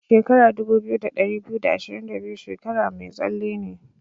Shekara dubu biyu da ɗari biyu da ashirin da biyu shekara mai tsalle ne.